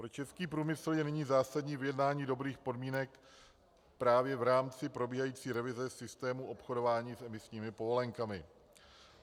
Pro český průmysl je nyní zásadní vyjednání dobrých podmínek právě v rámci probíhající revize systému obchodování s emisními povolenkami.